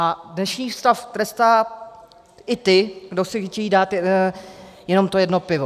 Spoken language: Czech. A dnešní stav trestá i ty, kdo si chtějí dát jenom to jedno pivo.